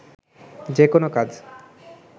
যেকোনো কাজ